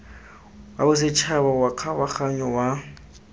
wa bosetšhaba wa kgabaganyo wa